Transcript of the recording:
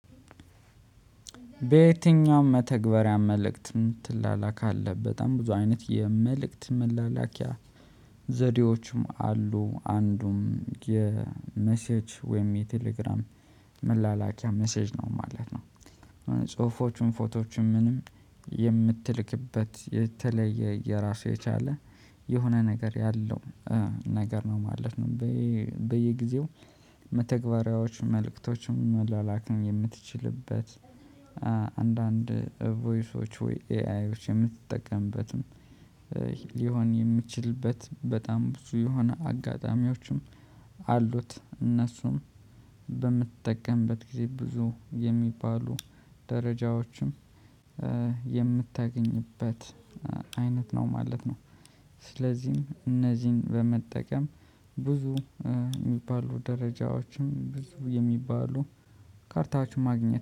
በየትኛውም መተግበሪያ መልእክትን ትላላካለህ በጣም ብዙ አይነት የመልእክት መላላኪያ ዘዴዎችም አሉ አንዱም የመሴጅ ወይም የቴሌግራም መላላኪያ መሴጅ ነው ማለት ነው። ጽሁፎቹን ፎቶዎችን ምንም የምትልክበት የተለየ የራሱ የቻለ የሆነ ነገር ያለው ነገር ነው ማለት ነው። በየጊዜው መተግበሪያዎች መልእክቶችም መላላክም የምትችልበት አንዳንድ ቮይሶች ወይ ኤአይዎች የምትጠቀምበትም ሊሆን የሚችልበት በጣም ብዙ የሆነ አጋጣሚዎችም አሉት እነሱም በምትጠቀምበት ጊዜ ብዙ የሚባሉ ደረጃዎችም የምታገኝበት አይነት ነው ማለት ነው። ስለዚህም እነዚህን በመጠቀም ብዙ የሚባሉ ደረጃዎችም ብዙ የሚባሉ ካርታዎችም ማግኘት